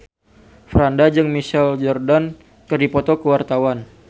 Franda jeung Michael Jordan keur dipoto ku wartawan